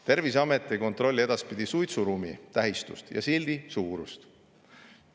Terviseamet ei kontrolli edaspidi suitsuruumi tähistust ja sildi suurust.